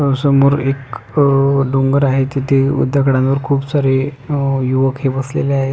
अ समोर एक अह डोंगर आहे तिथे दगडावर खुप सारे अ युवक हे बसलेले आहेत.